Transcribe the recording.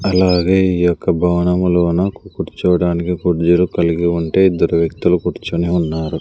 అలాగే ఈ యొక్క భవనము లోన కు కుర్చోవడానికి కుర్జీలు కలిగి ఉంటె ఇద్దరు వ్యక్తులు కుర్చొని ఉన్నారు.